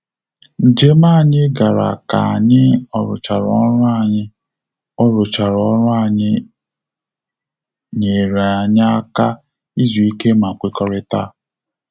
Njem anyị gara ka anyị oruchara ọrụ anyị oruchara ọrụ nyere anyị aka izu ike ma kwekọrịta